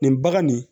Nin bagan nin